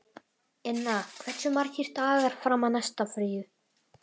Inna, hversu margir dagar fram að næsta fríi?